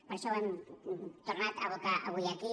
per això ho hem tornat a abocar avui aquí